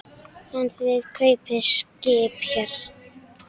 En þið kaupið skip hér.